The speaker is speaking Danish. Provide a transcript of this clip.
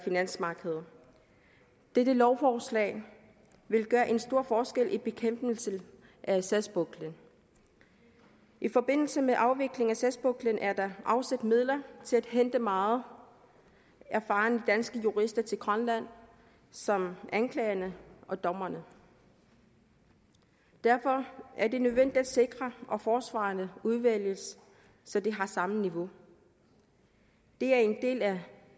finansmarkedet dette lovforslag vil gøre en stor forskel i bekæmpelsen af sagspuklen i forbindelse med afviklingen af sagspuklen er der afsat midler til at hente meget erfarne danske jurister til grønland som anklagere og dommere derfor er det nødvendigt at sikre at forsvarerne udvælges så de har samme niveau det er en del af